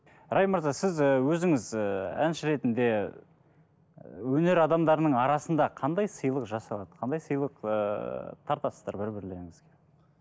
райм мырза сіз і өзіңіз і әнші ретінде өнер адамдарының арасында қандай сыйлық жасалады қандай сыйлық ыыы тартасыздар бір бірлеріңізге